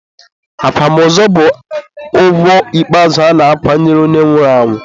akwamozu bụ ugwu ikpeazụ a na-akwanyere onye nwụrụ anwụ.